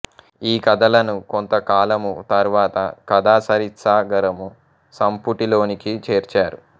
ఈ కథలను కొంతకాలము తరువాత కథాసరిత్సాగరం సంపుటి లోనికి చేర్చారు